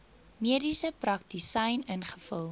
mediese praktisyn ingevul